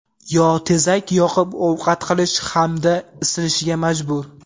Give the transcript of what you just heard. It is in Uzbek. yo tezak yoqib ovqat qilish hamda isinishga majbur.